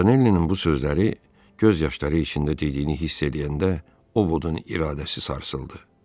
Montanelin bu sözləri, göz yaşları içində dediyini hiss eləyəndə ovudun iradəsi sarsıldı.